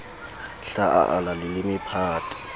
hla a ala leleme phate